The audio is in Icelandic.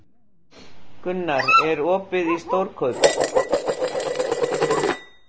Gunnar, er opið í Stórkaup?